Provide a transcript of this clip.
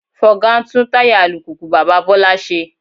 Fọga ń tún táyà alùpùpù bàbá Bọ́lá ṣe